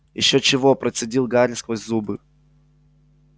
ещё чего процедил гарри сквозь зубы